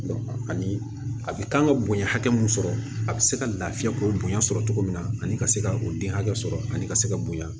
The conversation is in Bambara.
ani a bɛ kan ka bonya hakɛ mun sɔrɔ a bɛ se ka lafiya k'o bonya sɔrɔ cogo min na ani ka se ka o den hakɛ sɔrɔ ani ka se ka bonya